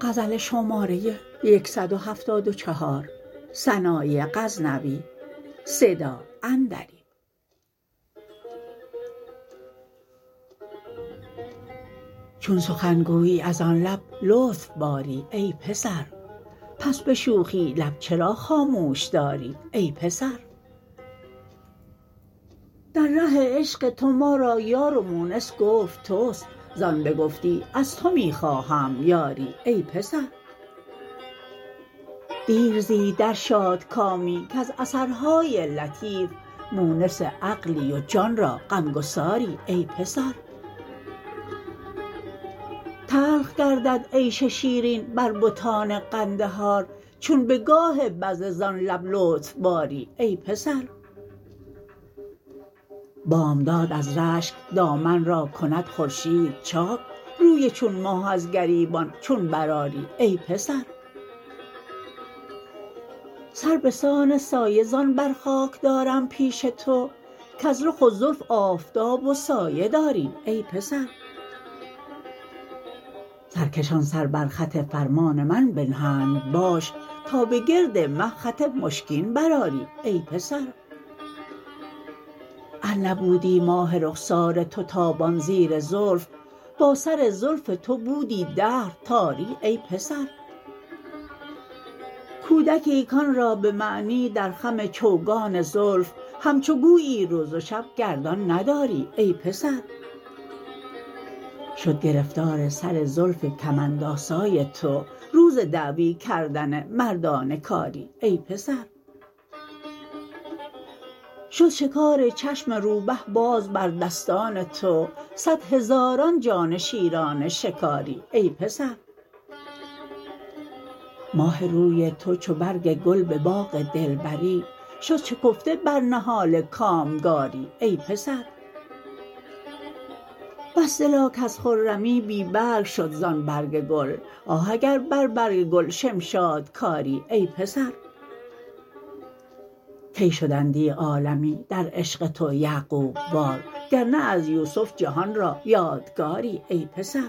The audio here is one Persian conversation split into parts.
چون سخنگویی از آن لب لطف باری ای پسر پس به شوخی لب چرا خاموش داری ای پسر در ره عشق تو ما را یار و مونس گفت توست زان بگفتی از تو می خواهم یاری ای پسر دیر زی در شادکامی کز اثرهای لطیف مونس عقلی و جان را غم گساری ای پسر تلخ گردد عیش شیرین بر بتان قندهار چون به گاه بذله زان لب لطف باری ای پسر بامداد از رشک دامن را کند خورشید چاک روی چون ماه از گریبان چون برآری ای پسر سر بسان سایه زان بر خاک دارم پیش تو کز رخ و زلف آفتاب و سایه داری ای پسر سرکشان سر بر خط فرمان من بنهند باش تا به گرد مه خط مشکین برآری ای پسر ار نبودی ماه رخسار تو تابان زیر زلف با سر زلف تو بودی دهر تاری ای پسر کودکی کآن را به معنی در خم چوگان زلف همچو گویی روز و شب گردان نداری ای پسر شد گرفتار سر زلف کمندآسای تو روز دعوی کردن مردان کاری ای پسر شد شکار چشم روبه باز پر دستان تو صدهزاران جان شیران شکاری ای پسر ماه روی تو چو برگ گل به باغ دلبری شد شکفته بر نهال کامگاری ای پسر بس دلا کز خرمی بی برگ شد زان برگ گل آه اگر بر برگ گل شمشاد کاری ای پسر کی شدندی عالمی در عشق تو یعقوب وار گر نه از یوسف جهان را یادگاری ای پسر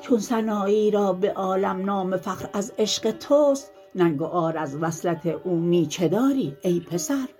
چون سنایی را به عالم نام فخر از عشق توست ننگ و عار از وصلت او می چه داری ای پسر